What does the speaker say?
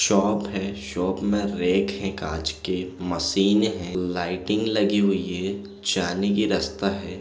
Shop है shop में rack है कांच के मशीन है लाइटिंग लगी हुई है जाने के रस्ता है।